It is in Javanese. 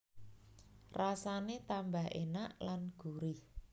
Rasane tambah enak lan gurih